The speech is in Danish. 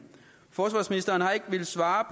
forsvarsministeren har ikke villet svare